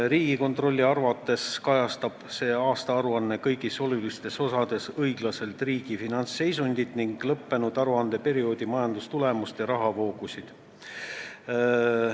Riigikontrolli arvates kajastab see aastaaruanne kõigis olulistes osades õiglaselt riigi finantsseisundit ning lõppenud aruandeperioodi majandustulemust ja rahavoogusid.